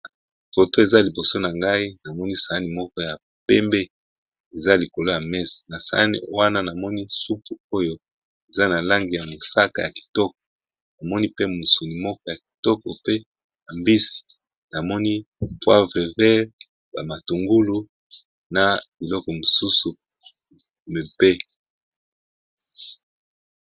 Photo eza liboso na ngai namoni saani moko ya pembe eza likolo ya mesa nasaani wana namoni supu oyo eza nalangi ya mosaka ya kitoko namoni pe musuni yakitoko penza na mbisi na bamatungulu